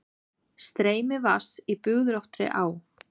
Streymi vatns í bugðóttri á.